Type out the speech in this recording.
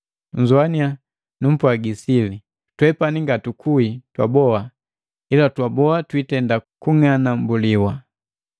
Nnzowaniya, numpwagi sili. Twepani ngatukuhi twaboha, ila twaboa twitenda kung'anambuliwa,